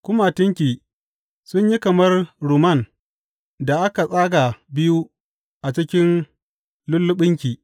Kumatunki sun yi kamar rumman da aka tsaga biyu a cikin lulluɓinki.